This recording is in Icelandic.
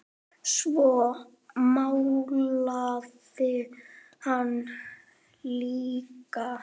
Svo málaði hann líka.